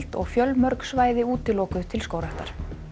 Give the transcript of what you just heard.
og fjölmörg svæði útilokuð til skógræktar